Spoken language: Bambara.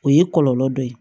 O ye kɔlɔlɔ dɔ ye